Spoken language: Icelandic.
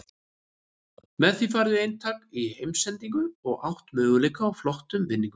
Með því færðu eintak í heimsendingu og átt möguleika á flottum vinningum.